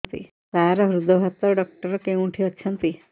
ସାର ହୃଦଘାତ ଡକ୍ଟର କେଉଁଠି ଅଛନ୍ତି